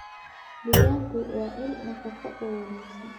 Digaaggu waa il nafaqo oo wanaagsan.